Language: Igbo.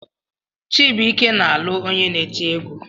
Chibụike na-alụ onye na-eti egwu.